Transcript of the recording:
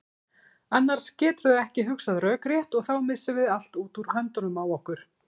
Annars geturðu ekki hugsað rökrétt og þá missum við allt út úr höndunum á okkur.